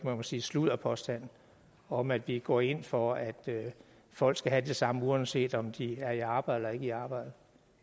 sige sludderpåstand om at vi går ind for at folk skal have det samme uanset om de er i arbejde eller ikke i arbejde